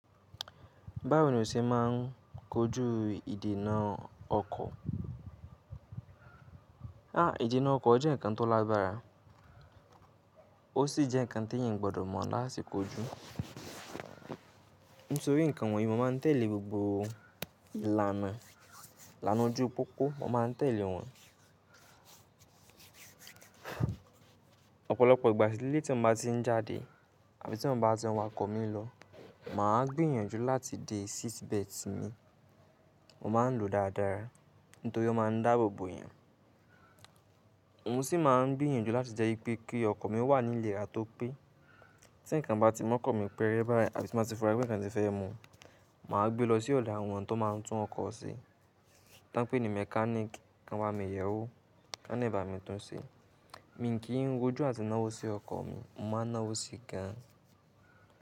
Báwo ni o ṣe máa ń kojú ìdènà ọkọ̀? À, ìdènà ọkọ̀ jẹ́ ǹkan tó lágbára, ó sì jẹ́ ǹkan tí èèyàn gbọdọ̀ mọ̀ láti kojú. Nítorí ǹkan wọ̀nyí mo máa ń tẹ̀lé gbogbo ìlànà, ìlànà ojú pópó mo máa ń tẹ̀lé wọn. Ọ̀pọ̀lọpọ̀ ìgbà lele tí mo bá ti ń jáde àbí tí mo bá ti wọn ọkọ̀ mi lọ, mà á gbìyànjú láti de seat belt mi, mo máa ń lo dáadáa nítorí ó máa ń dáàbò bo èèyàn. Mo sì máa ń gbìyànjú láti jẹ́ pé kí ọkọ̀ mi wà ní ìlera tó pé. Tí ǹkan bá ti mọ́ ọkọ̀ mi pẹ́rẹ́ báyìí àbí tí mo bá ti fura pé ǹkan ti fẹ́ mu, mà á gbé lọ sí ọ̀dọ̀ àwọn tó máa ń tún ọkọ̀ ṣe. Táńpẹ́ ni mechanic kan ba mi yẹ̀ ẹ́ wo, kán lebá mi tún ṣe. Mi kì í rojú àti náwó sí ọkọ̀ mi, mo máa náwó sí i gan.